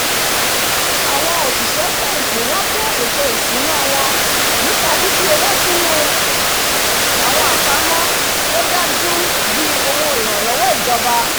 àwọn òsìsẹ́ fẹ̀hìntì wá kún ètò ìsúná wọn nípa fifi owó sínú àwọn àpamọ́ tó dájú bíi òwó ìrànlọ́wọ́ ìjòba